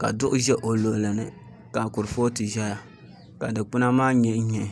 ka duɣu ʒɛ o luɣuli ni ka kurifooti ʒɛya ka dikpuna maa nyihi nyihi